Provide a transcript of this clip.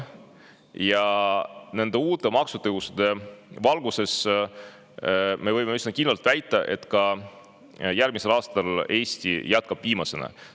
Nende uute maksutõusude valguses võib üsna kindlalt väita, et ka järgmisel aastal Eesti jätkab viimasena.